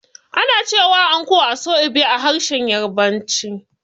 Ana cewa anko "Aso-ibe" a harshen Yarabanci.